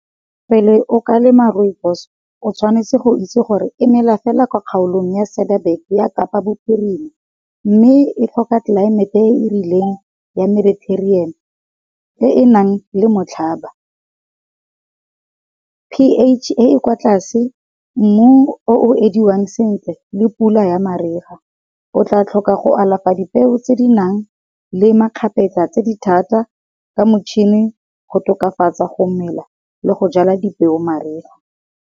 Pele o ka lema Rooibos o tshwanetse go itse gore e mela fela kwa kgaolong ya Cedarbug-e ya Kapa Bophirima. Mme e tlhoka tlelaemete e e rileng ya Mediterranean e nang le motlhaba. P_H e e kwa tlase, mmu o ediwang sentle le pula ya mariga, o tla tlhoka go alafa di peo tse di nang le makgapetla tse di thata ka motšhini go tokafatsa go mela le go jala dipeo mariga.